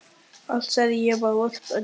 Allt, sagði ég og varp öndinni.